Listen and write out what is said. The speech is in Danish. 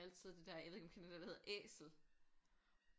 Altid det der jeg ved ikke om du kender det der hedder Æsel